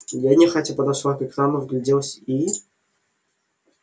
я нехотя подошла к экрану вгляделась и